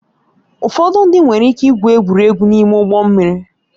Ụfọdụ ndị nwere ike igwu egwuregwu n'ime ụgbọ mmiri